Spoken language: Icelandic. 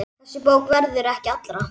Þessi bók verður ekki allra.